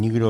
Nikdo.